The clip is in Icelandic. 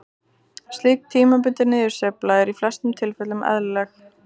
Slík tímabundin niðursveifla er í flestum tilfellum eðlileg.